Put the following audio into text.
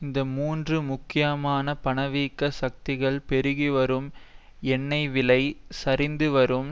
இந்த மூன்று முக்கியமான பணவீக்க சக்திகள் பெருகிவரும் எண்ணெய்விலை சரிந்துவரும்